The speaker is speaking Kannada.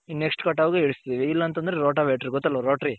ಇನ್ Next ಕಟಾವ್ಗೆ ಇಳಿಸ್ತಿವಿ ಇಲ್ಲ ಅಂದ್ರೆ ರೋಟಾ ವೇಟ್ರಿ ಗೊತ್ತಲ್ವ ರೊಟ್ರಿ.